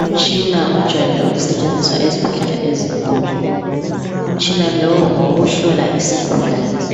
Umtshina ojayelwe ukusetshenziswa ezibhedlela ezinkulu. Umtshina lowu ngowokuhlola isigulane.